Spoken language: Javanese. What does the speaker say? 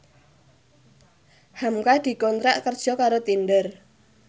hamka dikontrak kerja karo Tinder